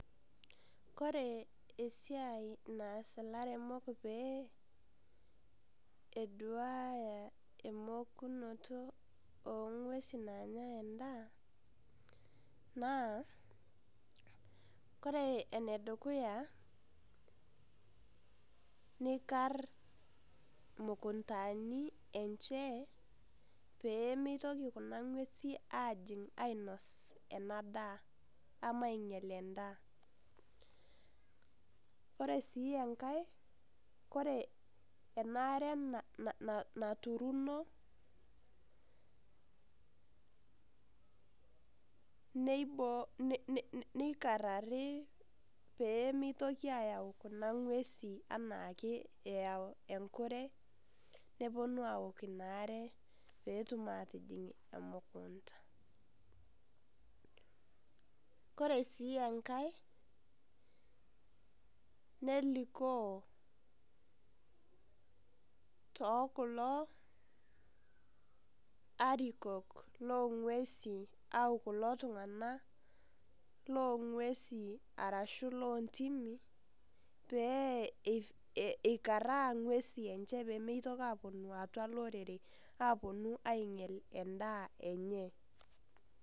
Kore esiai naas ilaremok pee eduaya emokunoto ong'uesi nanyai endaa, naa kore enedukuya, nikar imukuntani enche, pee mitoki kuna ng'uesi ajing' ainos enadaa. Ama ainyel endaa. Kore si enkae, kore enaare naturuno, neikarrari pemitoki ayau kuna ng'uesi enaake eyau enkure, neponu aok inaare petum atijing' emukunda. Kore si enkae, nelikoo tokulo arikok long'uesin au kulo tung'anak long'uesin arashu lontimi, pee eikarraa ng'uesi enche pemitoki aponu atua lorere, aponu ainyel endaa enye.